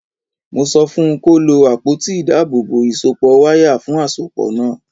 Mo sọ fun kó lo àpótí ìdábòòbò ìsọpọ̀ wáyà fún àsopọ̀ náà.